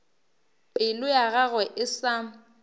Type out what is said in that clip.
pelo ya gagwe e sa